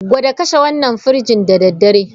Gwada kashe wannan firij da dare!